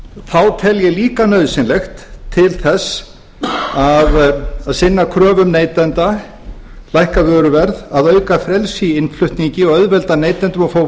þá tel ég líka nauðsynlegt til þess að sinna kröfum neytenda lækka vöruverð að auka frelsi í innflutningi og auðvelda neytendum að fá